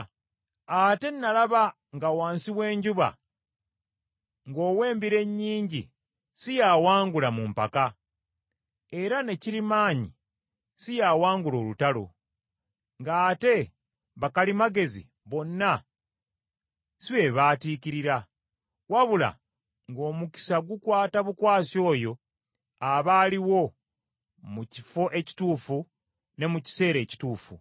Ate nalaba nga wansi w’enjuba, ng’ow’embiro ennyingi si y’awangula mu mpaka, era ne kirimaanyi si y’awangula olutalo, ng’ate bakalimagezi bonna si be baatiikirira; wabula ng’omukisa gukwata bukwasi oyo aba aliwo mu kifo ekituufu ne mu kiseera ekituufu.